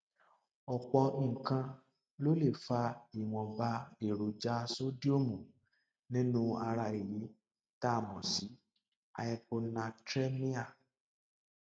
ọpọ nǹkan ló lè fa ìwọnba èròjà sódíọọmù nínú ara èyí tá a mọ sí hyponatremia